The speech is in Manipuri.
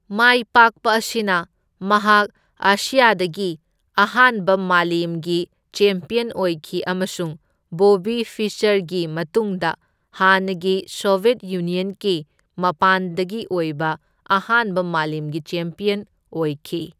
ꯃꯥꯏꯄꯥꯛꯄ ꯑꯁꯤꯅ ꯃꯍꯥꯛ ꯑꯦꯁ꯭ꯌꯥꯗꯒꯤ ꯑꯍꯥꯟꯕ ꯃꯥꯂꯦꯝꯒꯤ ꯆꯦꯝꯄ꯭ꯌꯟ ꯑꯣꯏꯈꯤ ꯑꯃꯁꯨꯡ ꯕꯣꯕꯤ ꯐꯤꯁꯆꯔꯒꯤ ꯃꯇꯨꯡꯗ ꯍꯥꯟꯅꯒꯤ ꯁꯣꯚ꯭ꯌꯦꯠ ꯌꯨꯅ꯭ꯌꯟꯒꯤ ꯃꯄꯥꯟꯗꯒꯤ ꯑꯣꯏꯕ ꯑꯍꯥꯟꯕ ꯃꯥꯂꯦꯝꯒꯤ ꯆꯦꯝꯄ꯭ꯌꯟ ꯑꯣꯏꯈꯤ꯫